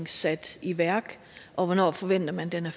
sat i værk og hvornår forventer man den